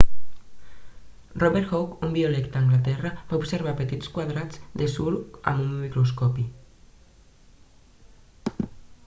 robert hooke un biòleg d'anglaterra va observar petits quadrats de suro amb un microscopi